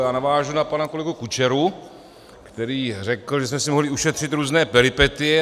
Já navážu na pana kolegu Kučeru, který řekl, že jsme si mohli ušetřit různé peripetie.